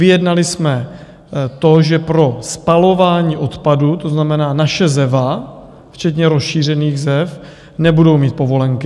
Vyjednali jsme to, že pro spalování odpadu, to znamená, naše Zeva včetně rozšířených Zev, nebudou mít povolenky.